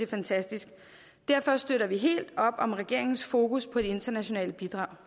fantastisk derfor støtter vi helt op om regeringens fokus på det internationale bidrag